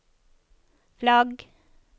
flagg